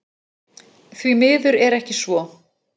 Því miður er svo ekki